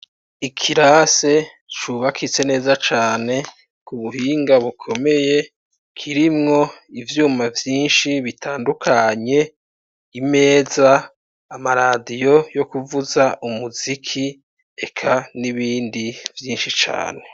Ikirase cubakitse neza cane kubuhinga bukomeye kirimwo ivyuma vyinshi bitandukanye ,imeza ,ama radiyo yokuvuza umuziki ,eka nibindi vyinshi cane.